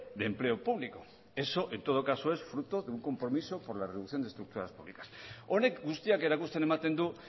de empleo público eso en todo caso es fruto de un compromiso por la reducción de estructuras públicas honek guztiak erakusten ematen du